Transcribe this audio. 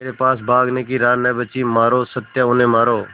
मेरे पास भागने की राह न बची मारो सत्या उन्हें मारो